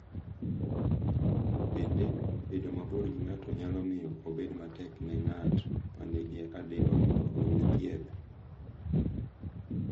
Bende, bedo mabor gi ng’ato nyalo miyo obed matek ne ng’at ma nigi adimba mondo oyud thieth,